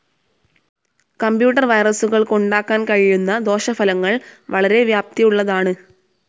Computer വൈറസ്സുകൾക്കുണ്ടാക്കാൻ കഴിയുന്ന ദോഷഫലങ്ങൾ വളരെ വ്യാപ്തിയുള്ളതാണ്.